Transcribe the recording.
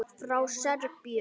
Frá Serbíu.